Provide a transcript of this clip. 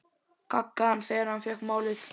gaggaði hann þegar hann fékk málið.